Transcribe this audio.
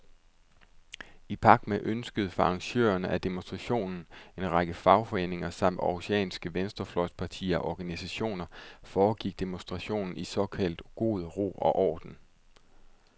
I pagt med ønsket fra arrangørerne af demonstrationen, en række fagforeninger samt århusianske venstrefløjspartier og organisationer, foregik demonstrationen i såkaldt god ro og orden.